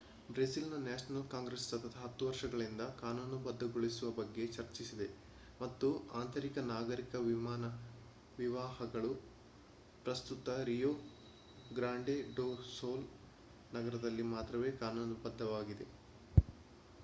ಬ್ರೆಜಿಲ್‌ನ national congress ಸತತ 10 ವರ್ಷಗಳಿಂದ ಕಾನೂನುಬದ್ಧಗೊಳಿಸುವ ಬಗ್ಗೆ ಚರ್ಚಿಸಿದೆ ಮತ್ತು ಅಂತಹ ನಾಗರಿಕ ವಿವಾಹಗಳು ಪ್ರಸ್ತುತ ರಿಯೊ ಗ್ರಾಂಡೆ ಡೊ ಸುಲ್ ನಗರದಲ್ಲಿ ಮಾತ್ರವೇ ಕಾನೂನುಬದ್ಧವಾಗಿವೆ